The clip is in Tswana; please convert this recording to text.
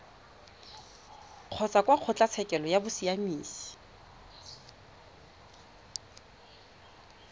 kgotsa kwa kgotlatshekelo ya bosiamisi